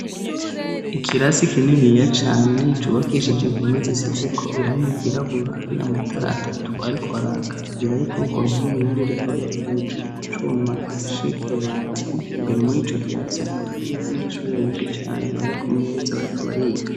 Ikirasi kininiya cane cubakishije impome zisizeko irangi ryirabura hari amatara atatu ariko araka abiri ari kurugwo ruhume irindi rikaba riri hejuru kucuma gifashe kwibati imbere muri ico kirasi hakaba hari y' abanyeshuri benshi cane bari ku meza bariko bariga.